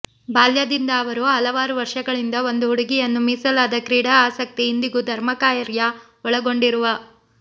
ಬಾಲ್ಯದಿಂದ ಅವರು ಹಲವಾರು ವರ್ಷಗಳಿಂದ ಒಂದು ಹುಡುಗಿಯನ್ನು ಮೀಸಲಾದ ಕ್ರೀಡಾ ಆಸಕ್ತಿ ಇಂದಿಗೂ ಧರ್ಮಕಾರ್ಯ ಒಳಗೊಂಡಿರುವ